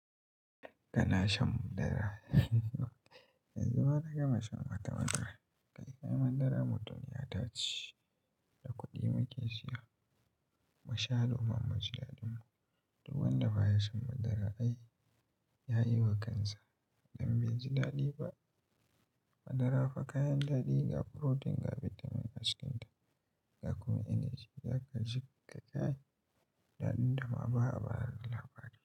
Ka na shan madara, yanzu ma na gama shan wata madara, kai kayan madara mutum ya tashi da kuɗi mu ke siya, mashahuran mujalladinmu duk wanda ba ya shan madara ai ya yi wa kansa don bai ji daɗi ba. Madara fa kayan daɗi ga furotin, ga bitamin acikinta ga kuma energy, ya kashe ka kayan daɗi da ma ba a bari labari.